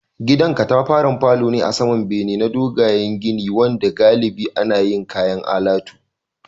Gidan katafaren falo ne a saman bene na dogayen gini wanda galibi ana yin kayan alatu